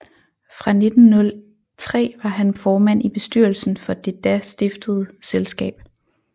Fra 1903 var han formand i bestyrelsen for det da stiftede selskab